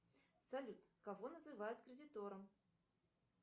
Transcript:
салют кого называют кредитором